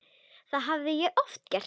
Það hafði ég oft gert.